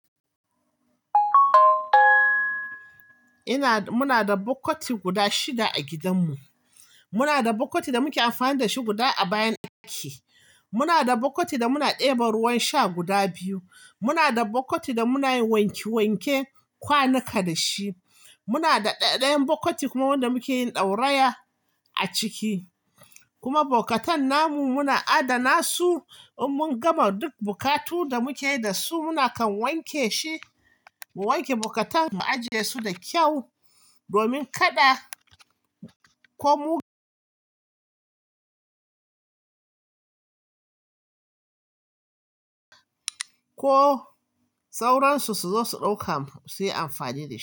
Ina, muna da bokkati guda shida a gidanmu. Muna da bukati da muke amfani da shi guda a bayan ɗaki. Muna da bokkati da muna ɗeba ruwan sha guda biyu. Muna da bukkati da muna yin wanke wanke kwanuka da shi. Muna da ɗaɗayan bokkati kuma wanda muke yin ɗauraya a ciki. Kuma bukatan namu muna adana su. In mun gama duk bukatu da muke yi da su, muna kan wanke shi, mu wanke bokkatan mu ajiye su da kyau, domin kada ko sauran su suzo su dauka mu. Suyi amfani da su.